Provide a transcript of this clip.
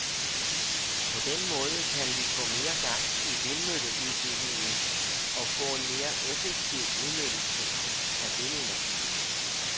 På den måde kan vi få mere gang i vindmølleudbygningen og få en mere effektiv udnyttelse af vindenergien.